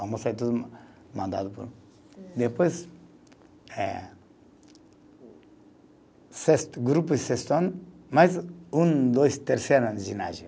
Almoço é tudo mandado por. Depois, eh sexto, grupo e sexto ano, mais um, dois, terceiro ano ginásio.